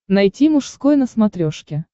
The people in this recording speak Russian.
найти мужской на смотрешке